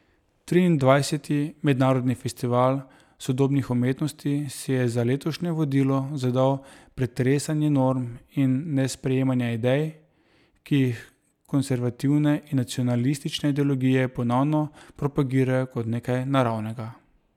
Triindvajseti Mednarodni festival sodobnih umetnosti si je za letošnje vodilo zadal pretresanje norm in nesprejemanje idej, ki jih konservativne in nacionalistične ideologije ponovno propagirajo kot nekaj naravnega.